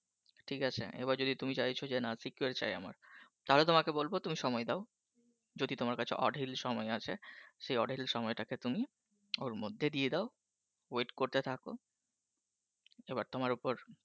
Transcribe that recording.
ঠিক আছে এবার যদি তুমি চাইছো জেনা Secured চাই আমার তাহলে তোমাকে বলবো তুমি সময় দাও যদি তোমার কাছে অঢেল সময় আছে সে অঢেল সময়টাকে তুমি ওর মধ্যে দিয়ে দাও Wait করতে থাকো এবার তোমার উপর